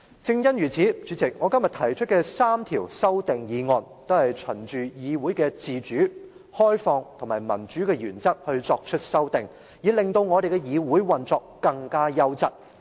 正因如此，主席，我今天提出的3項修訂均循議會自主、開放及民主的原則提出修訂，以令議會的運作更加優質。